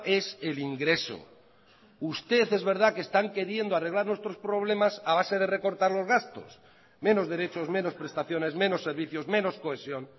es el ingreso usted es verdad que están queriendo arreglar nuestros problemas a base de recortar los gastos menos derechos menos prestaciones menos servicios menos cohesión